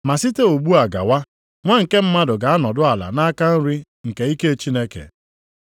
Ma site ugbu a gawa, Nwa nke Mmadụ ga-anọdụ ala nʼaka nri nke ike Chineke.”